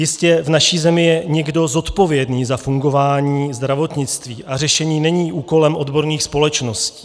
Jistě, v naší zemi je někdo zodpovědný za fungování zdravotnictví a řešení není úkolem odborných společností.